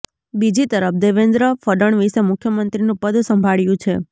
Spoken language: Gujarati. બીજી તરફ દેવેન્દ્ર ફડણવીસે મુખ્યમંત્રીનું પદ સંભાળ્યું છે